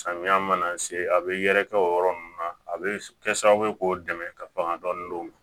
Samiya mana se a bɛ yɛrɛkɛ o yɔrɔ nunnu na a be kɛ sababu ye k'o dɛmɛ ka ban dɔɔni